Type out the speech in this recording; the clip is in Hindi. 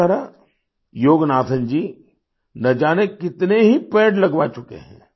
इस तरह योगनाथन जी न जाने कितने ही पेड़ लगवा चुके हैं